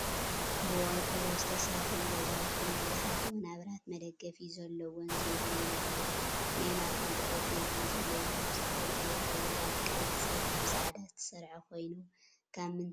ብቆርቆሮ ዝተሰረሐን ገዛውትን ብዙሓት ወናብራት መደገፊ ዘለዎን ዘይብሉን ኣለው። ናይ ማእከል ጠረጴዛን ዘለዎን ካብ ዝተፈላለዩ ሕብርታት ቀይሕን ፀሊምን ፃዕዳን ዝተሰረሐኮይኑ ካብ ምንታይ እዩ ተሰሪሑ?